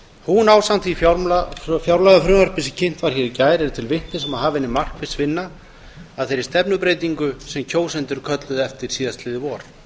hún ásamt því fjárlagafrumvarpi sem kynnt var hér í gær er til vitnis um að hafin er markviss vinna að þeirri stefnubreytingu sem kjósendur kölluðu eftir síðastliðið vor